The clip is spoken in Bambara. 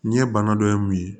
N ye bana dɔ ye mun ye